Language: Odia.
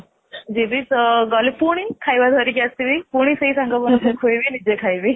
ଯିବି ତ ପୁଣି ଗଲେ ଖାଇବା ଧରିକି ଆସିବି ପୁଣି ସେଇ ସାଙ୍ଗ ମାନଙ୍କୁ ଖୁଆଇବି ନିଜେ ଖାଇବି